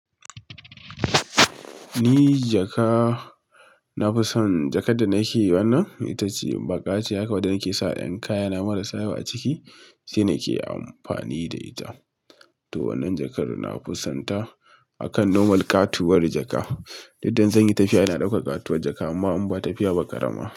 Ni jaka nafison jakar da nake wannan. To itace baƙa ce haka wadda nake saka ƴan kayana marasa yawa a ciki. Shine ke amfani da ita. To wannan jakar na fusanta akan normal ƙatuwar jaka. Didda in zanyi tafiya ina ɗaukar ƙatuwar jaka amma in ba tafiya ba karama.